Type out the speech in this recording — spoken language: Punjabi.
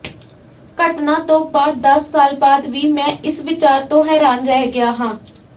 ਘਟਨਾ ਤੋਂ ਬਾਅਦ ਦਸ ਸਾਲ ਬਾਅਦ ਵੀ ਮੈਂ ਇਸ ਵਿਚਾਰ ਤੋਂ ਹੈਰਾਨ ਰਹਿ ਗਿਆ ਹਾਂ